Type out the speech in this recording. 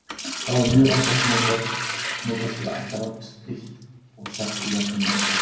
Þá er mjög oft notast við ættarnafnið eitt og sagt í verkum Laxness.